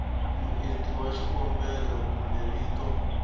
muendli wa xikombelo kumbe vito